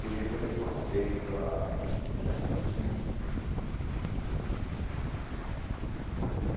E depois eu passei para o Jacinto Silva.